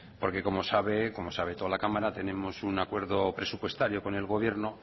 porque como sabe toda la cámara tenemos un acuerdo presupuestario con el gobierno